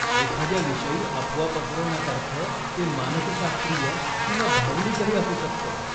एखाद्याविषयी अफवा पसरवण्यासारखं ते मानसशास्त्रीय किंवा भावनिकही असू शकतं.